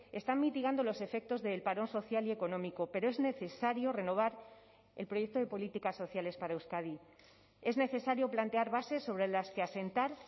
están mitigando los efectos del parón social y económico pero es necesario renovar el proyecto de políticas sociales para euskadi es necesario plantear bases sobre las que asentar